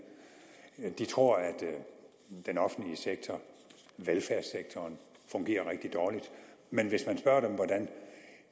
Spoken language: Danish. de tror at den offentlige sektor velfærdssektoren fungerer rigtig dårligt men hvis man spørger dem hvordan